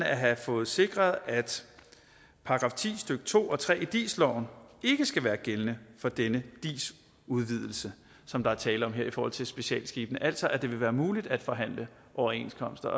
at have fået sikret at § ti stykke to og tre i dis loven ikke skal være gældende for denne dis udvidelse som der er tale om her i forhold til specialskibene altså at det vil være muligt at forhandle overenskomster